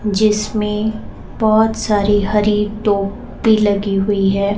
जिसमें बहोत सारी हरी टोपी लगी हुई है।